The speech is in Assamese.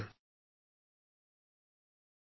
নমস্কাৰ আপোনালোকক অশেষ ধন্যবাদ